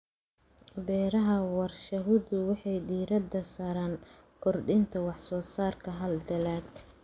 Beeraha warshaduhu waxay diiradda saaraan kordhinta wax-soo-saarka hal dalagga.